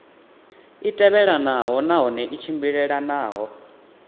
i tevhelelanaho nahone i tshimbilelanaho